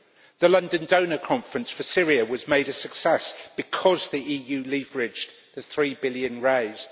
The London Donor Conference for Syria was made a success because the EU leveraged the three billion raised.